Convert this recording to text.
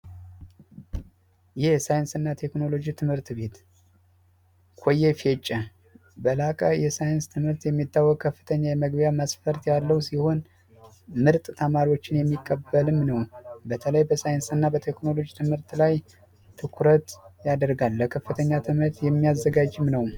የሳይንስና ቴክኖሎጂ ትምህርት ቤት በላከ የሳይንስ ትምህርት የሚታወቅ ከፍተኛ የመግቢያ መስፈርት ያለው ሲሆን ምርጥ ተማሪዎችን የሚቀበልም በተለይ በሳይንስ እና በቴክኖሎጂ ትምህርት ላይ ትኩረት ያደርጋል ለከፍተኛ ትምህርት የሚያዘጋጅም ነው